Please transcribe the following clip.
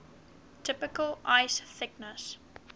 typical ice thickness